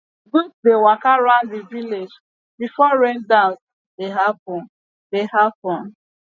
goat dey waka round the village before rain dance dey happen dey happen